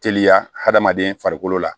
Teliya hadamaden farikolo la